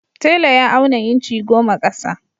Tela ya auna inci goma ƙasa.